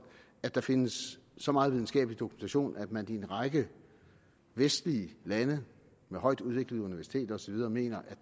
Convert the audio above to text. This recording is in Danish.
at der findes så meget videnskabelig dokumentation at man i en række vestlige lande med højtudviklede universiteter og så videre mener at